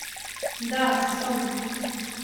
Da, sem.